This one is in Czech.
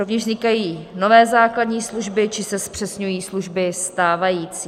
Rovněž vznikají nové základní služby či se zpřesňují služby stávající.